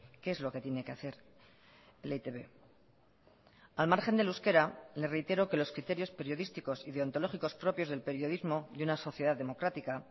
qué es lo que tiene que hacer e i te be al margen del euskera le reitero que los criterios periodísticos y deontológicos propios del periodismo y una sociedad democrática